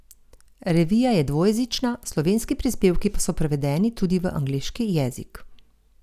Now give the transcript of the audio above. Revija je dvojezična, slovenski prispevki so prevedeni tudi v angleški jezik.